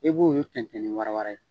E b'olu fɛntɛn ni wara wara ye.